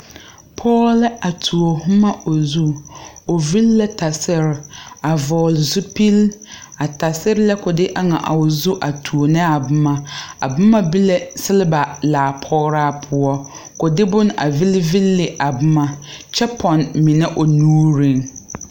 Pɔge la a tuo boma o zuŋ o vigla tasere a vɔgle zupele a tasere la ko de eŋ a o zuŋ a tuo ne a boma a boma be la sigleba laa pɔgraa poɔ ,ko de boma a leŋ leŋ ne a boma, kyɛ pɔgne mine o nuure.